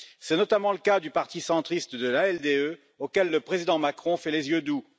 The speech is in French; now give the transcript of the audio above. C'est notamment le cas du parti centriste de l'ALDE, auquel le président Macron fait les yeux doux.